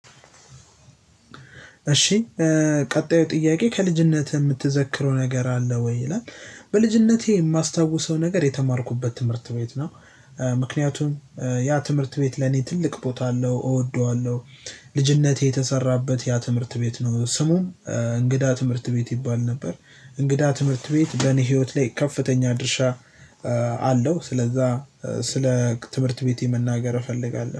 እሺ ቀጣዩ ጥያቄ ከልጅነትህ የምትዘክረው ነገር አለ ወይ ይላል? በልጅነቴ የማስታውሰው ነገር የተማርኩበት ትምህርት ቤት ነው። ምክንያቱም ያ ትምህርት ቤት ለኔ ትልቅ ቦታ አለው እወደዋለሁ። ልጅነቴ የተሰራበት ያ ትምህርት ቤት ነው ስሙን እንግዳ ትምህርት ቤት ይባል ነበር። እንግዳ ትምህርት ቤት በኔ ህይወት ላይ ከፍተኛ ድርሻ አለው። ስለዛ ስለ ትምህርት ቤቴ መናገር እፈልጋለሁ